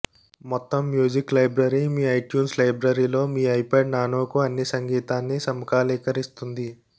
మొత్తం music library మీ iTunes లైబ్రరీలో మీ ఐపాడ్ నానోకు అన్ని సంగీతాన్ని సమకాలీకరిస్తుంది